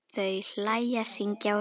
Þau hlæja, syngja og spila.